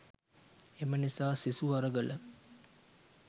එම නිසා සිසු අරගල